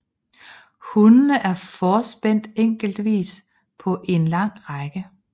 Hundene er forspændt enkeltvis på en lang række